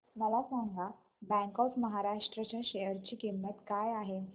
मला सांगा bank of Maharashtra च्या शेअर ची किंमत काय आहे